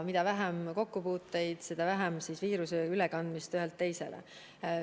Mida vähem on kokkupuuteid, seda vähem toimub viiruse ülekandumist ühelt teisele.